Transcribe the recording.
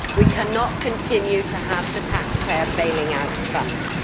We cannot continue to have the taxpayer bailing out banks.